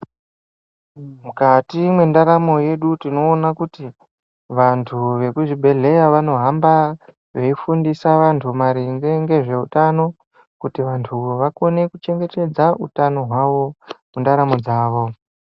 Mukati mwendaramo yedu tinoona kuti vantu vekuzvibhehleya vanohamba veifundisa vantu maringe ngezveutano kuti vantu vakone kuchengetedza utano hwavo mundaramo dzavo.